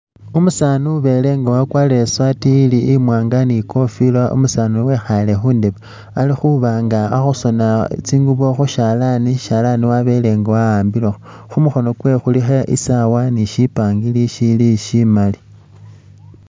Umusaani ubele nga i sati ili imwanga ni i kofila umusani uyu wekhale khundebe, ali khuba nga ali khusona tsingubo khushalani, ishalani wabele nga wa'ambilekho, khumukhono kwewe khulikho i sawa ni shi pangiri shili shimali.